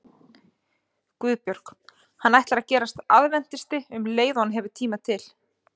GUÐBJÖRG: Hann ætlar að gerast aðventisti um leið og hann hefur tíma til.